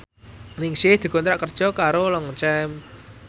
Ningsih dikontrak kerja karo Longchamp